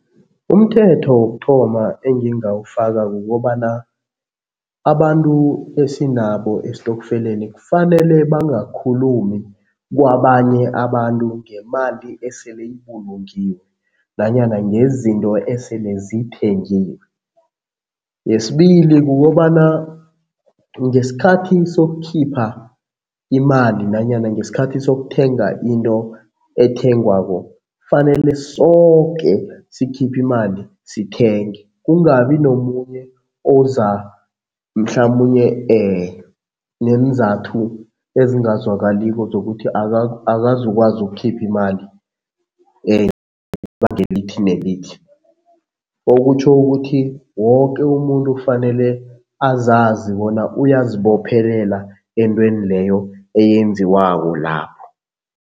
Umthetho wokuthoma engingawufaka kukobana abantu esinabo esitofkeleni kufanele bangakhulumi kwabanye abantu ngemali esele ibulungiwe nanyana ngezinto esele zithengiwe. Yesibili, kukobana ngesikhathi sokukhipha imali nanyana ngesikhathi sokuthenga into ethengwako, kufanele soke sikhiphe imali sithenge, kungabi nomunye oza mhlamunye neenzathu ezingazwakaliko zokuthi akazukwazi ukukhipha imali elithi nelithi. Okutjho ukuthi woke umuntu kufanele azazi bona uyazibophelela entweni leyo eyenziwako lapho.